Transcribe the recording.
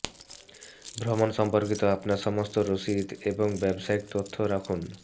ভ্রমণ সম্পর্কিত আপনার সমস্ত রসিদ এবং ব্যবসায়িক তথ্য রাখুন